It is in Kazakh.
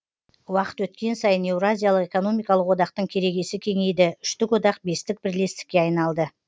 уақыт өткен сайын еуразиялық экономикалық одақтың керегесі кеңейді үштік одақ бестік бірлестікке айналды